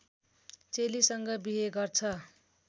चेलीसँग बिहे गर्छ